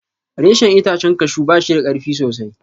Reshen itacen kashu ba shida karfi sosai.